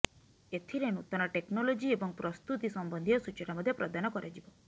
ଏଥିରେ ନୂତନ ଟେକ୍ନଲୋଜି ଏବଂ ପ୍ରସ୍ତୁତି ସମ୍ବନ୍ଧୀୟ ସୂଚନା ମଧ୍ୟ ପ୍ରଦାନ କରାଯିବ